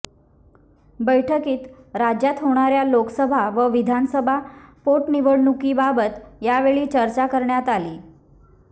बैठकीत राज्यात होणाऱया लोकसभा व विधानसभा पोटनिवडणुकीबाबत यावेळी चर्चा करण्यात आली